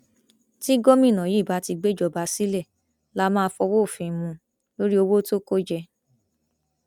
tí gómìnà yìí bá ti gbéjọba sílẹ lá máa fọwọ òfin mú un lórí owó tó kó jẹ